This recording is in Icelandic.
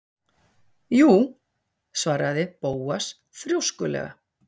Jú- svaraði Bóas þrjóskulega.